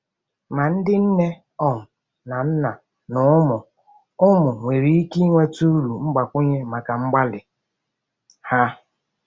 Ma ndị nne um na nna na ụmụ ụmụ nwere ike nweta uru mgbakwunye maka mgbalị ha.